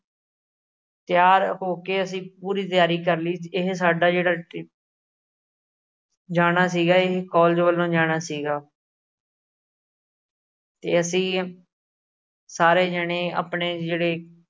ਤਿਆਰ ਹੋ ਕੇ ਅਸੀਂ ਪੂਰੀ ਤਿਆਰੀ ਕਰ ਲਈ। ਇਹੈ ਸਾਡਾ ਜਿਹੜਾ trip ਜਾਣਾ ਸੀਗਾ। ਇਹੈ ਕੋਲਜ ਵੱਲੋ ਜਾਣਾ ਸੀਗਾ ਤੇ ਅਸੀਂ ਸਾਰੇ ਜਾਣੇ, ਆਪਣੇ ਜਿਹੜੇ